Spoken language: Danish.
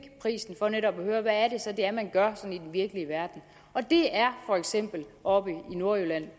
prisen for netop at høre hvad det så er man gør sådan i virkelige verden og det er for eksempel oppe i nordjylland